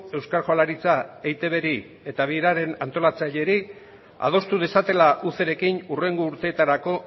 euskal jaurlaritza eitbri eta bigarren antolatzaileri adostu dezatela ucirekin hurrengo urteetarako